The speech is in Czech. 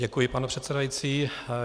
Děkuji, pane předsedající.